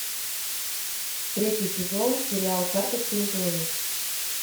третий сезон сериал карточный домик